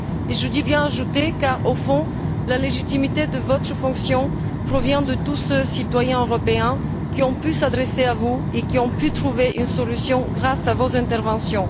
Je dis bien ajoutée, car au fond, la légitimité de votre fonction provient de tous ceux, citoyens européens, qui ont pu s'adresser à vous et qui ont pu trouver une solution grâce à vos interventions.